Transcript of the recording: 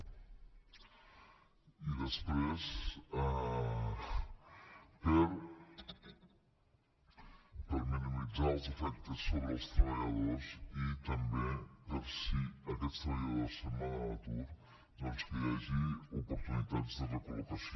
i després per minimitzar els efectes sobre els treballadors i també per si aquests treballadors se’n van a l’atur doncs que hi hagi oportunitats de recol·locació